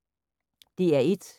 DR1